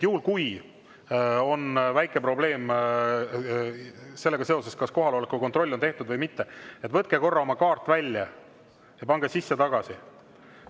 Juhul kui on väike probleem sellega seoses, kas kohaloleku kontroll on tehtud või mitte, võtke korra oma kaart välja ja pange sisse tagasi.